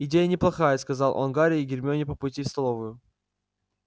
идея неплохая сказал он гарри и гермионе по пути в столовую